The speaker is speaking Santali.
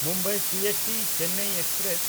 ᱢᱩᱢᱵᱟᱭ ᱥᱤᱮᱥᱴᱤ-ᱪᱮᱱᱱᱟᱭ ᱮᱠᱥᱯᱨᱮᱥ